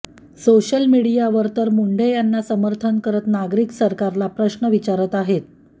social media वर तर मुंढे यांना समर्थन करत नागरिक सरकला प्रश्न विचारत आहेत